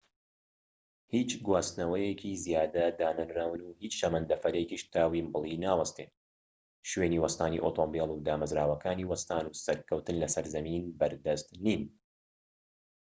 هیچ گواستنەوەیەکی زیادە دانەنراون و هیچ شەمەندەفەرێکیش تا ویمبلی ناوەستێت شوێنی وەستانی ئۆتۆمبیل و دامەزراوەکانی وەستان و سەرکەوتن لەسەر زەمین بەردەست نین